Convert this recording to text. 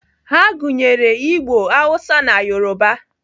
Ha gụnyere Igbo, Hausa na Yoruba.